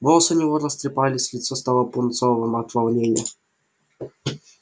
волосы у него растрепались лицо стало пунцовым от волнения